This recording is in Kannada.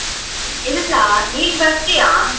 ಇಲ್ಲ. ನೀನ್ ಬರ್ತೀಯಾ?